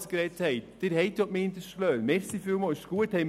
Und an alle Gewerbetreibende, die das Wort ergriffen haben: